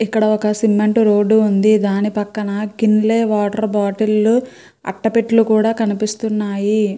ఇక్కడ ఒక cement road ఉంది దాని పక్కన కిన్లేయ్ బాటిల్స్ అటపెట్టిల్లు కినిపిస్తున్నాయి.